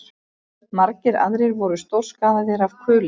Margir aðrir voru stórskaðaðir af kuli